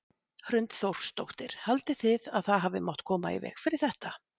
Hrund Þórsdóttir: Haldið þið að það hafi mátt koma í veg fyrir þetta?